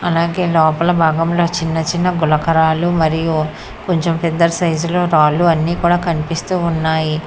అలాగే లోపల భాగంలో చిన్న చిన్న గులకరాళ్లు మరియు కొంచెం పెద్ద సైజులో రాళ్లు అన్ని కూడా కనిపిస్తూ ఉన్నాయి.